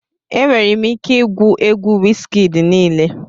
Enwere m ike igwu egwu Wizkid niile